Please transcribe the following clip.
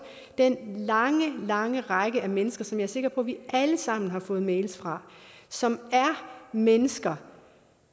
den lange lange række af mennesker som jeg er sikker på vi alle sammen har fået mails fra som er mennesker